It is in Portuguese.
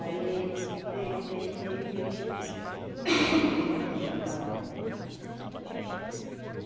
Aí teve, teve, teve e aí depois hoje aonde era a taberna. Hum, éh,